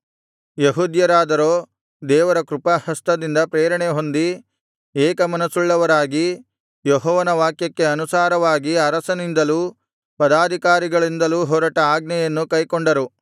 ಯೆಹೂದ್ಯರಾದರೋ ದೇವರ ಕೃಪಾಹಸ್ತದಿಂದ ಪ್ರೇರಣೆಹೊಂದಿ ಏಕ ಮನಸ್ಸುಳ್ಳವರಾಗಿ ಯೆಹೋವನ ವಾಕ್ಯಕ್ಕೆ ಅನುಸಾರವಾಗಿ ಅರಸನಿಂದಲೂ ಪದಾಧಿಕಾರಿಗಳಿಂದಲೂ ಹೊರಟ ಆಜ್ಞೆಯನ್ನು ಕೈಕೊಂಡರು